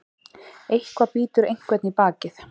Eitthvað bítur einhvern í bakið